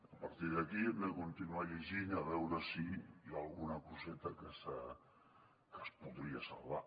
a partir d’aquí hem de continuar llegint a veure si hi ha alguna coseta que se’n podria salvar